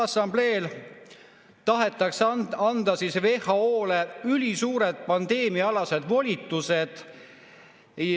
Assambleel tahetakse anda WHO-le ülisuured pandeemiaalased volitused.